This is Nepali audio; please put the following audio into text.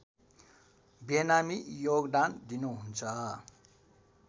बेनामी योगदान दिनुहुन्छ